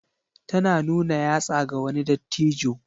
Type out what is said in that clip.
Tana nuna yatsa ga wani dattijo.